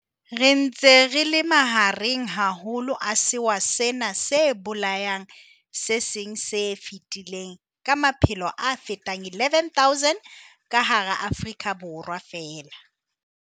Re ntse re le mahareng haholo a sewa sena se bolayang se seng se fetile ka maphelo a fetang 11 000 ka hara Afrika Borwa feela.